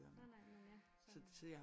Nej nej men ja sådan